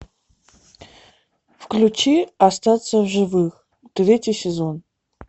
включи остаться в живых третий сезон